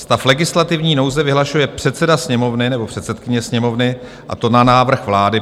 Stav legislativní nouze vyhlašuje předseda Sněmovny nebo předsedkyně Sněmovny, a to na návrh vlády.